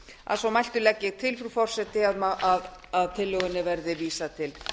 að svo mæltu legg ég til frú forseti að tillögunni verði vísað til